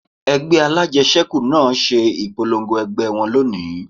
Ẹgbẹ́ alájẹsẹ́kù náà ṣe ìpolongo ẹgbẹ́ wọn lónìí